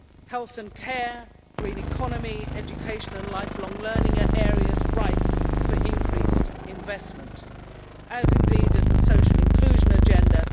Health and care, the green economy, education and lifelong learning are areas ripe for increased investment, as is the social inclusion agenda.